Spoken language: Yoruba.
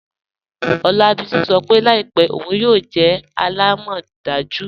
Olabisi sọ́ pe laípẹ̀ ọun yóò jẹ́ àlàmọ́dàjú.